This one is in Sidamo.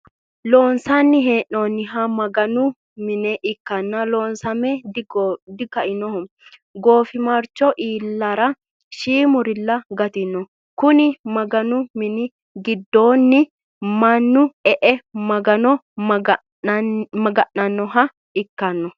Loonsani he'noniha maganu mine ikkana loosame dikainoho gofimarcho ilarra shimurilla gatino, konni maganu mini gidoonni manu e'e maganno maga'nanohha ikkanno